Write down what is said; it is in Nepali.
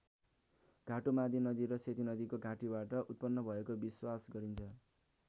घाटु मादी नदी र सेती नदीको घाँटीबाट उत्पन्न भएको विश्वास गरिन्छ।